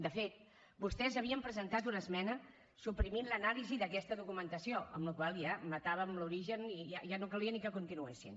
de fet vostès havien presentat una esmena suprimint l’anàlisi d’aquesta documentació amb la qual cosa ja matàvem l’origen i ja no calia ni que continuéssim